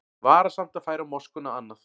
Varasamt að færa moskuna annað